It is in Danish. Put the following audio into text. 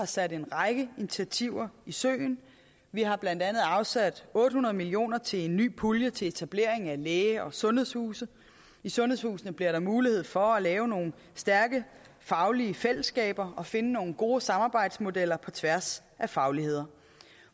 sat en række initiativer i søen vi har blandt andet afsat otte hundrede million kroner til en ny pulje til etablering af læge og sundhedshuse i sundhedshusene bliver der mulighed for at lave nogle stærke faglige fællesskaber og finde nogle gode samarbejdsmodeller på tværs af faglighed